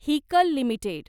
Haeckel limited